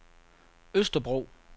Østerbro